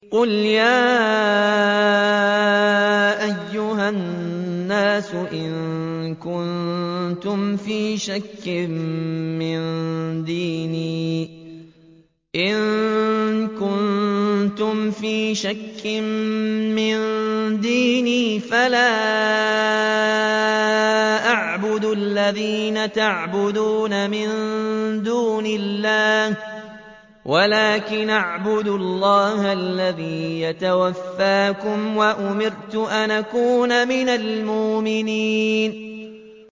قُلْ يَا أَيُّهَا النَّاسُ إِن كُنتُمْ فِي شَكٍّ مِّن دِينِي فَلَا أَعْبُدُ الَّذِينَ تَعْبُدُونَ مِن دُونِ اللَّهِ وَلَٰكِنْ أَعْبُدُ اللَّهَ الَّذِي يَتَوَفَّاكُمْ ۖ وَأُمِرْتُ أَنْ أَكُونَ مِنَ الْمُؤْمِنِينَ